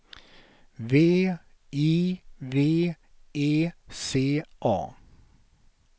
V I V E C A